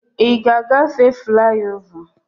Ị ga agbafe fliova?